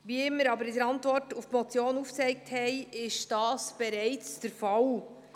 Wie wir aber in der Antwort zur Motion aufgezeigt haben, ist das bereits der Fall.